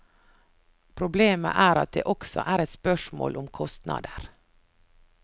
Problemet er at det også er et spørsmål om kostnader.